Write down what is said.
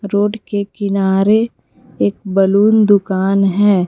Road के किनारे एक बैलून की दुकान है।